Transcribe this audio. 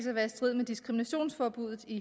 at være i strid med diskriminationsforbuddet i